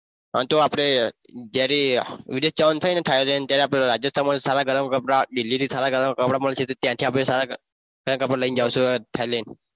આ તો આપણે જ્યારે વિદેશ જવાનું થાય ને thailand ત્યારે આપણે રાજસ્થાનમાંથી સારા કપડા દિલ્હી માંથી સારા કપડા ગરમ કપડા મળશે તો ત્યાંથી આપણે સારા કપડા લઇ ને જઈશું